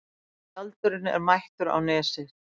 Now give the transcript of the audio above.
Tjaldurinn mættur á Nesið